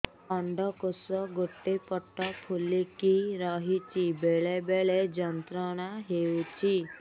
ଅଣ୍ଡକୋଷ ଗୋଟେ ପଟ ଫୁଲିକି ରହଛି ବେଳେ ବେଳେ ଯନ୍ତ୍ରଣା ହେଉଛି